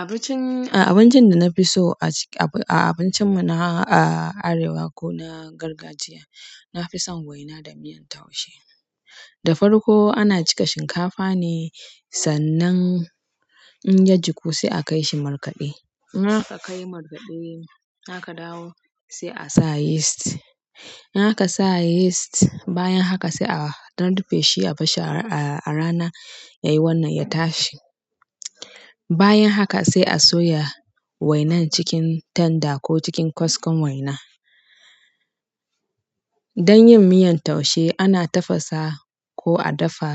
Abincin, abincin da na fi so a cikin, a abincin mu na Arewa ko na gargajiya, na fi son waina da miyan taushe. Da farko ana gika shinkafa ne, sannan in ya jiku sai a kai shi markaɗe. In aka kai markaɗe, haka dawo sai a sa yist. In aka sa yeast, bayan haka sai a ɗan rufe shi a bashi a rana yayi wannan ya tashi. Bayan haka sai a soya wainan cikin tanda ko cikin kaskon waina. Don yin miyan taushe ana tafasa ko a dafa